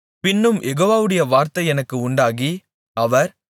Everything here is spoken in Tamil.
பின்னும் யெகோவாவுடைய வார்த்தை எனக்கு உண்டாகி அவர்